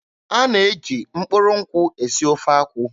A na-eji mkpụrụ nkwụ esi ofe akwụ.